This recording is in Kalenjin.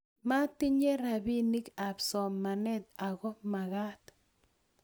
matinye rapinik ab somanet ako magat